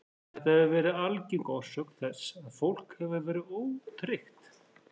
Þetta hefur verið algeng orsök þess að fólk hefur verið ótryggt.